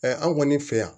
an kɔni fɛ yan